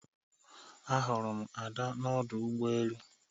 Ahụrụ m ada n'ọdụ ụgbọ elu